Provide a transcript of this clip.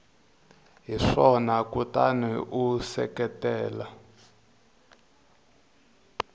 hi swona kutani u seketela